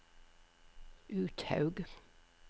Uthaug